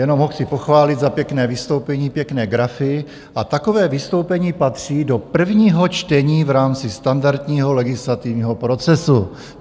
Jenom ho chci pochválit za pěkné vystoupení, pěkné grafy a takové vystoupení patří do prvního čtení v rámci standardního legislativního procesu.